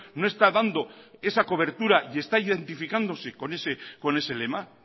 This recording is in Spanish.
no está dando esa cobertura y está identificándose con ese lema